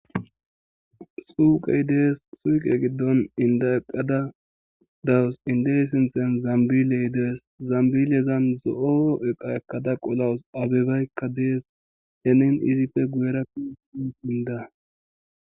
Suuqey dees suuqe giddon inda eqqada dawus indey sinthen zambiley dees zambilezan zo'o eqa ekkada qolowus abebaykka dees henin izipfe guera inda